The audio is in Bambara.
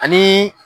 Ani